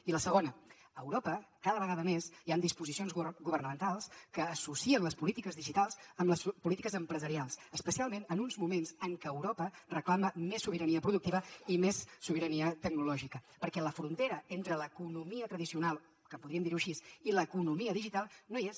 i la segona a europa cada vegada més hi han disposicions governamentals que associen les polítiques digitals amb les polítiques empresarials especialment en uns moments en què europa reclama més sobirania productiva i més sobirania tecnològica perquè la frontera entre l’economia tradicional que en podríem dir així i l’economia digital no hi és